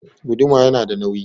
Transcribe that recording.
Guduma yana da nauyi